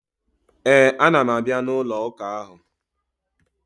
Ee, ana m abịa n'ụlọụka ahụ.